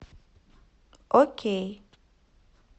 окей